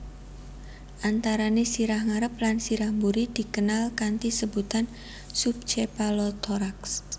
Antarané sirah ngarep lan sirah buri dikenal kanthi sebutan sub chepalothorax